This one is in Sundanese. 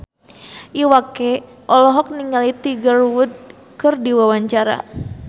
Iwa K olohok ningali Tiger Wood keur diwawancara